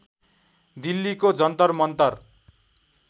दिल्लीको जन्तर मन्तर